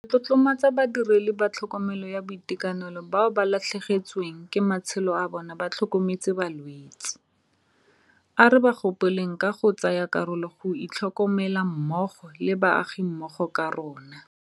Re tlotlomatsa badiredi ba tlhokomelo ya boitekanelo bao ba latlhegetsweng ke matshelo a bona ba tlhokometse balwetse. A re ba gopoleng ka go tsaya karolo go itlhokomela mmogo le baagimmogo ka rona.